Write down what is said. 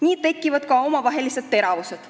Nii tekivad ka omavahelised teravused.